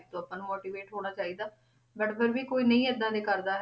ਤੋਂ ਆਪਾਂ ਨੂੰ motivate ਹੋਣਾ ਚਾਹੀਦਾ but ਫਿਰ ਵੀ ਕੋਈ ਨਹੀਂ ਏਦਾਂ ਦੀ ਕਰਦਾ ਹੈ,